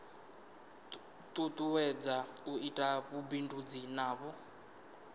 tutuwedza u ita vhubindudzi navho